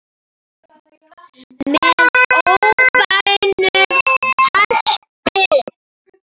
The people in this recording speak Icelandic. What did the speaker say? Með óbeinum hætti.